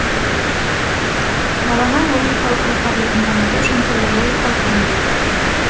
баланың логикалық ой қабілетін дамыту үшін түрлі логикалық ойындар бар